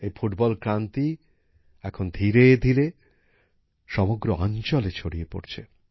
এই ফুটবল আন্দোলন এখন ধীরে ধীরে সমগ্র অঞ্চলে ছড়িয়ে পড়ছে